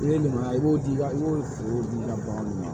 I bɛ ɲumanya i b'o di ka i b'o foro di i ka bagan ma